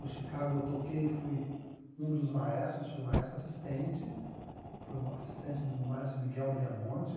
O Chicago eu toquei e fui um dos maestros, fui maestro assistente, fui assistente do maestro Miguel Breamonte.